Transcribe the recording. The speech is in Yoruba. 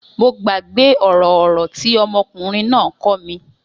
Mo gbàgbé ọ̀rọ̀ ọ̀rọ̀ tí ọmọkùnrin náà kọ́ mi.